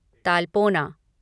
तालपोना